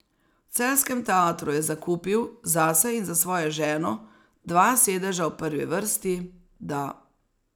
V celjskem teatru je zakupil, zase in za svojo ženo, dva sedeža v prvi vrsti, da ...